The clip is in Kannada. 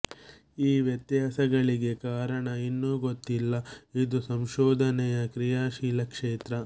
ಈ ವ್ಯತ್ಯಾಸಗಳಿಗೆ ಕಾರಣ ಇನ್ನೂ ಗೊತ್ತಿಲ್ಲ ಇದು ಸಂಶೋಧನೆಯ ಕ್ರಿಯಾಶೀಲ ಕ್ಷೇತ್ರ